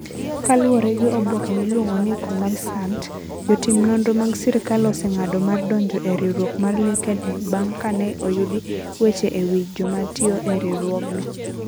Kaluwore gi Oboke miluongo ni Kommersant, jotim nonro mag sirkal oseng'ado mar donjo e riwruok mar LinkedIn bang ' ka ne oyudi weche e wi joma tiyo e riwruogno.